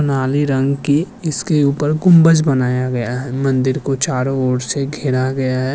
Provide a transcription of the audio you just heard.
नाली रंग की इसके उपर कुंभज बनाया गया है मंदिर को चारो ओर से घेरा गया है।